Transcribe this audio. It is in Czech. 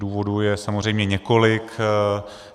Důvodů je samozřejmě několik.